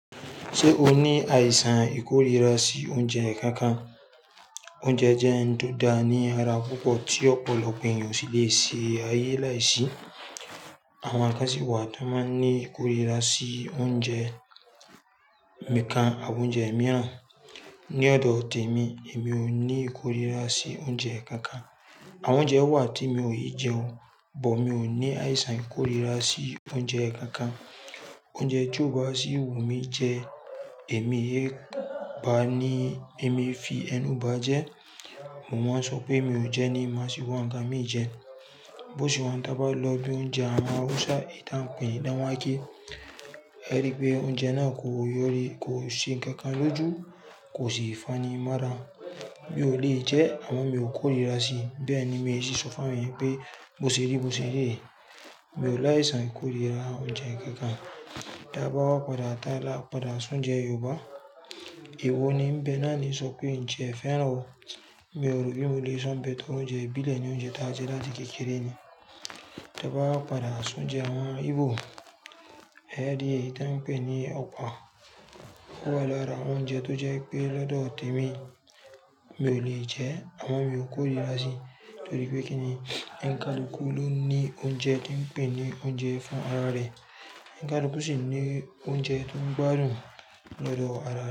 Ṣé o ní àìsàn ìkórìíra sí oúnjẹ kankan? Oúnjẹ jẹ́ ohun tó da ní ara púpọ̀ tí ọ̀pọ̀lọpọ̀ ènìyàn sì lè ṣe ayé láìsí. Àwọn kan si wà tí wọ́n máa ń ní ìkórìíra sí oúnjẹ nikan àwọn oúnjẹ mìíràn. Ni ọ̀dọ̀ tèmi, èmi ò ní ìkórìíra sí oúnjẹ kankan. Àwọn oúnjẹ wà tí mi ò lè jẹ́ wọn, bọ̀ mi ò ní àìsàn ìkórìíra sí oúnjẹ kankan. Oúnjẹ tí ó bá sí wù mí jẹ ẹ́, èmi é bá ní èmi fi ẹnu bá jẹ́. Wọn máa ń sọ pé mi ò jẹ́ ní máa sì wa ikan mí jẹ. Bó ṣé wa tábá lọ́ bí i oúnjẹ àwọn Hausa, ìtàn péní dán wáké. Ẹ rí pé oúnjẹ náà kò yọ́rí, kò ṣe nǹkankan lójú, kò sì fanimọ́rán. Mi ò lè jẹ ẹ́, àmo mi ò kóríra sí i. Bẹ́ẹ̀ ni mi ò sì sọ fún ẹni pé bó ṣe rí, bó ṣe ri re, mi ò láìsán ikóríra oúnjẹ kankan. Tẹ́ bá wà padà, tá là padà si oúnjẹ Yorùbá. Ewo ní bẹ́ náà ní sọ pé ǹ ti e fẹ́ràn ọ̀. Mi ò rí, mi ò lè sanbẹ tó oúnjẹ bílẹ̀ ní oúnjẹ táàjé láti kékeré ni. Ta bá wà padà sún oúnjẹ àwọn Ìgbó. Ẹ rí í, eyi tàn péní ọ̀pá. Ó wà lórà oúnjẹ tó jẹ́ pé lọ́dọ̀ tèmi, mi ò lè jẹ ẹ́, àmo mi ò kóríra sí i. Tó rí pé kíni, onikalúkú ló ní oúnjẹ tí ń pè ní oúnjẹ fún ara rẹ̀. Ẹ̀nkadúkú sì ní oúnjẹ tó ń gbádùn lọ́dọ̀ ara.